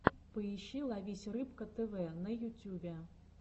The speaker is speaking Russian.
поищи ловись рыбка тв на ютюбе